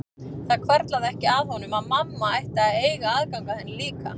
Það hvarflaði ekki að honum að mamma ætti að eiga aðgang að henni líka.